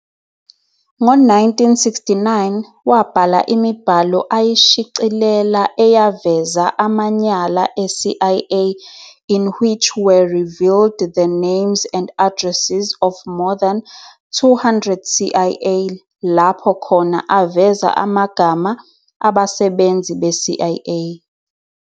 Ngo 1969, wabhala imibhalo ayishicelela eyaveza amanyala e-CIA in which were revealed the names and addresses of more than 200 CIA lapho khona aveza amagama abasebenzi be-CIA.